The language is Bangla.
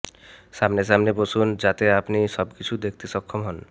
সামনে সামনে বসুন যাতে আপনি সবকিছু দেখতে সক্ষম হন